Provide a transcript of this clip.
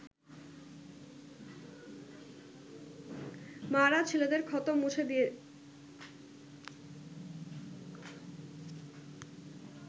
মা’রা ছেলেদের ক্ষত মুছে দিয়ে